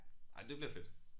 Ej det bliver fedt